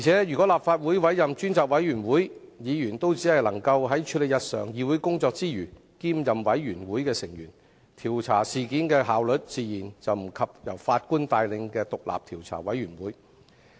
如果立法會委任專責委員會，議員只能在處理日常議會工作之餘，兼任專責委員會成員，調查事件的效率自然不及由法官帶領的調查委員會。